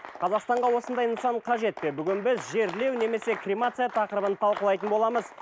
қазақстанға осындай нысан қажет пе бүгін біз жерлеу немесе кремация тақырыбын талқылайтын боламыз